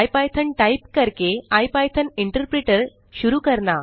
IPython type करके IPython interpreter शुरू करना